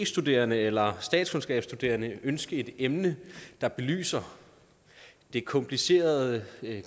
studerende eller statskundskabsstuderende ønske et emne der belyser det komplicerede